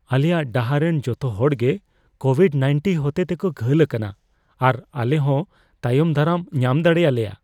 ᱟᱞᱮᱭᱟᱜ ᱰᱟᱦᱟᱨ ᱨᱮᱱ ᱡᱚᱛᱚ ᱦᱚᱲᱜᱮ ᱠᱳᱵᱷᱤᱰᱼ᱑᱙ ᱦᱚᱛᱮᱛᱮ ᱠᱚ ᱜᱷᱟᱹᱞ ᱟᱠᱟᱱᱟ ᱟᱨ ᱟᱞᱮ ᱦᱚᱸ ᱛᱟᱭᱚᱢ ᱫᱟᱨᱟᱢ ᱧᱟᱢ ᱫᱟᱲᱮ ᱟᱞᱮᱭᱟ ᱾